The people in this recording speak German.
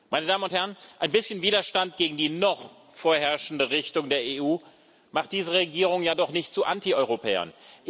Meine Damen und Herren, ein bisschen Widerstand gegen die noch vorherrschende Richtung der EU macht diese Regierung ja noch nicht zu Antieuropäern.